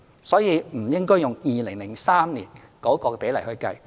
所以，我們不應該用2003年的比例來計算。